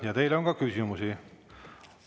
Ja teile on ka küsimusi.